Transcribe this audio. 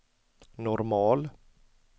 normal